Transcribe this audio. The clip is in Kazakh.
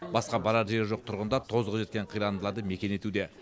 басқа барар жері жоқ тұрғындар тозығы жеткен қирандыларды мекен етуде